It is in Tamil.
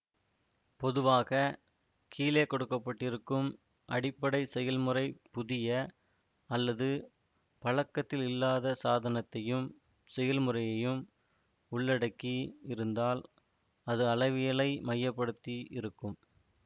பொதுவாக கீழே கொடுக்க பட்டிருக்கும் அடிப்படை செயல்முறை புதிய அல்லது பழக்கத்தில் இல்லாத சாதனத்தையும் செயல்முறையையும் உள்ளடக்கி இருந்தால் அது அளவியலை மைய படுத்தி இருக்கும்